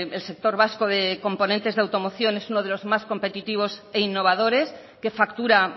el sector vasco de componentes de automoción es uno de los más competitivos e innovadores que factura